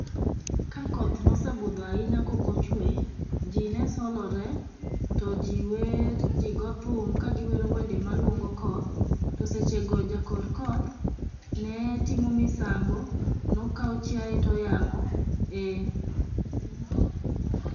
Kakoth ne osebudho ahinya ka ok ochwe, to ji ne solore, to ji wer ka gigo thum ka giwero wende maluongo koth. To sechego jakor koth ne timo misango. Ne okawo chiaye to oyang'o. Eeh.